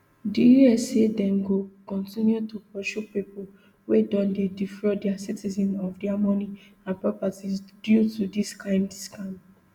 di us say dem go kontinu to pursue pipo wia don dey defraud dia citizens of dia money and properties due to dis kind scams